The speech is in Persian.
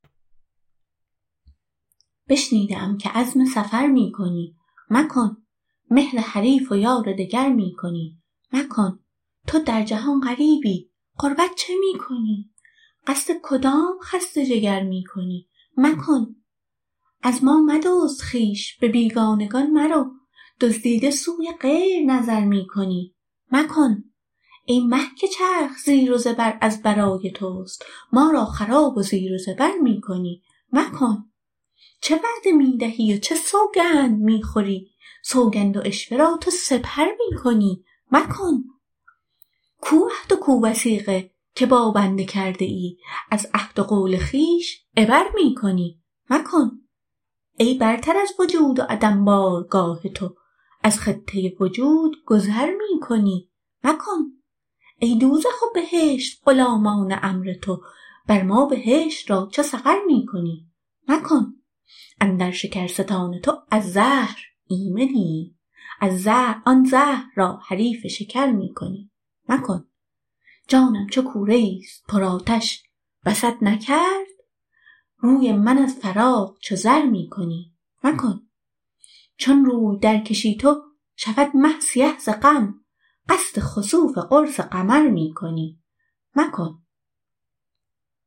بشنیده ام که عزم سفر می کنی مکن مهر حریف و یار دگر می کنی مکن تو در جهان غریبی غربت چه می کنی قصد کدام خسته جگر می کنی مکن از ما مدزد خویش به بیگانگان مرو دزدیده سوی غیر نظر می کنی مکن ای مه که چرخ زیر و زبر از برای توست ما را خراب و زیر و زبر می کنی مکن چه وعده می دهی و چه سوگند می خوری سوگند و عشوه را تو سپر می کنی مکن کو عهد و کو وثیقه که با بنده کرده ای از عهد و قول خویش عبر می کنی مکن ای برتر از وجود و عدم بارگاه تو از خطه وجود گذر می کنی مکن ای دوزخ و بهشت غلامان امر تو بر ما بهشت را چو سقر می کنی مکن اندر شکرستان تو از زهر ایمنیم آن زهر را حریف شکر می کنی مکن جانم چو کوره ای است پرآتش بست نکرد روی من از فراق چو زر می کنی مکن چون روی درکشی تو شود مه سیه ز غم قصد خسوف قرص قمر می کنی مکن ما خشک لب شویم چو تو خشک آوری چشم مرا به اشک چه تر می کنی مکن چون طاقت عقیله عشاق نیستت پس عقل را چه خیره نگر می کنی مکن حلوا نمی دهی تو به رنجور ز احتما رنجور خویش را تو بتر می کنی مکن چشم حرام خواره من دزد حسن توست ای جان سزای دزد بصر می کنی مکن سر درکش ای رفیق که هنگام گفت نیست در بی سری عشق چه سر می کنی مکن